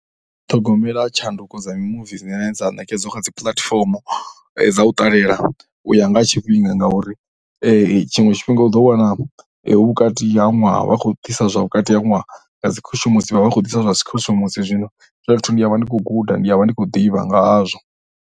Ṱhogomela tshanduko dza mimuvi dzine dza ṋekedza kha dzi puḽatifomo dza u ṱalela u ya nga ha tshifhinga ngauri tshiṅwe tshifhinga u ḓowana hu vhukati ha ṅwaha. Vha khou ḓisa zwa vhukati ha ṅwaha, nga dzi khushumushi vha vha vha khou ḓisa zwa dzi khou khushumushi, zwino hezwiḽa zwithu ndi vha ndi khou guda, ndi a vha ndi khou ḓivha nga hazwo.